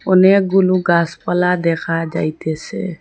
অনেকগুলু গাসপালা দেখা যাইতেসে।